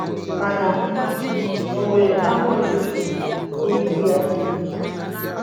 Mana ọ nwere afọ ojuju na ibu ya.